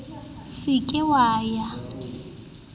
se ke wa ya le